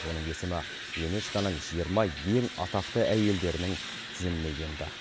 оның есімі юнеско ның жиырма ең атақты әйелдерінің тізіміне енді